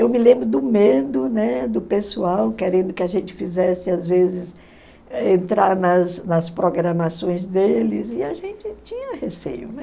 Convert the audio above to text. Eu me lembro do medo, né, do pessoal querendo que a gente fizesse, às vezes, entrar nas nas programações deles, e a gente tinha receio, né.